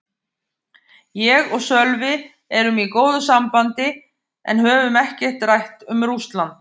Ég og Sölvi erum í góðu sambandi en höfum ekkert rætt um Rússland.